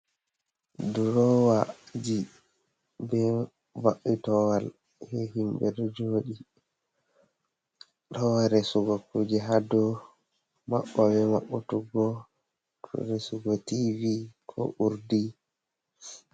Drowaji be mabbitowal ha himɓe ɗo joɗi, towa resugo kuje ha dow maɓɓa e maɓɓutugo resugo tv ko urdi.